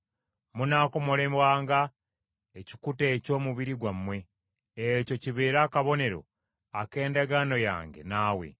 Munaakomolebwanga ekikuta eky’omubiri gwammwe, ekyo kibeere akabonero ak’endagaano yange naawe.